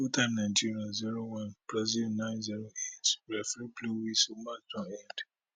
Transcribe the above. full time nigeria zero brazil nine zero eight referee blow whistle match don end